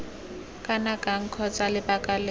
kana kang kgotsa lebaka lengwe